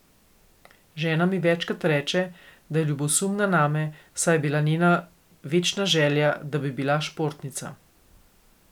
Žena mi večkrat reče, da je ljubosumna name, saj je bila njena večna želja, da bi bila športnica.